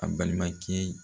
A balima kɛ ye